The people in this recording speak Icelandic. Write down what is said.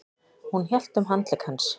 Hún hélt um handlegg hans.